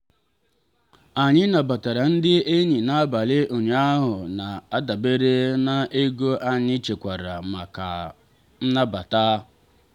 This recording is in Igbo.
anyị nabatara ndị enyi n'abalị ụnyaahụ na-adabere na ego anyị chekwara maka ịnabata.